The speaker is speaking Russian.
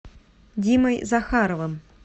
димой захаровым